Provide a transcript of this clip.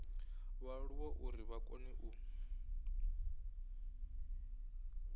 vhaaluwa uri vha kone u